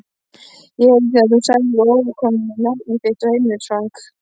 Ég heyrði þegar þú sagðir afgreiðslukonunni nafnið þitt og heimilisfang.